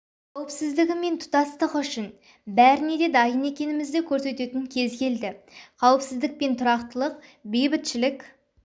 қауіпсіздігі мен тұтастығы үшін бәріне де дайын екенімізді көрсететін кез келді қауіпсіздік пен тұрақтылық бейбітшілік